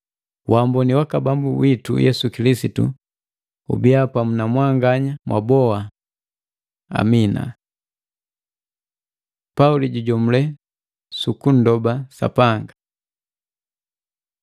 Waamboni waka Bambu witu Yesu Kilisitu ubia pamu na mwanganya mwabao. Amina. Pauli jujomule suku nndoba Sapanga